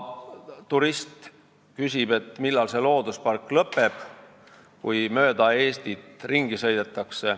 Praegu turist küsib, et millal see looduspark lõpeb, kui ta mööda Eestit ringi sõidab.